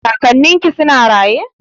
Kakannin ki suna raye?